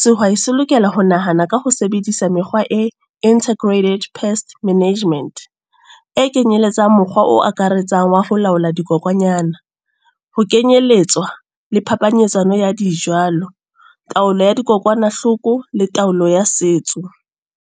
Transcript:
Sehwai se lokela ho nahana ka ho sebedisa mekgwa e Integrated Pest Management, e kenyeletsang mokgwa o akaretsang wa ho laola dikokwanyana. Ho kenyelletswa le phapanyetsano ya di jalo, taolo ya dikokwanahloko le taolo ya setso.